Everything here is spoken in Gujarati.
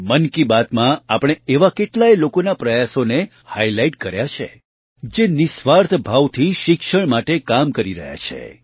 મન કી બાતમાં આપણે આવા કેટલાય લોકોના પ્રયાસોને હાઇલાઇટ કર્યા છે જે નિઃસ્વાર્થ ભાવથી શિક્ષણ માટે કામ કરી રહ્યા છે